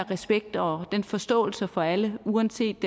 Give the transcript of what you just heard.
respekt og den forståelse for alle uanset